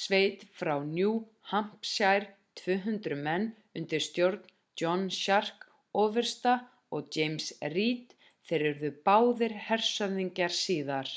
sveit frá new hampshire 200 menn undir stjórn john stark ofursta og james reed þeir urðu báðir hershöfðingjar síðar